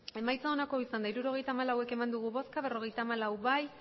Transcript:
emandako botoak hirurogeita hamalau bai berrogeita hamalau ez